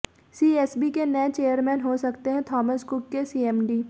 CSB के नए chairman हो सकते हैं थॉमस कुक के सीएमडी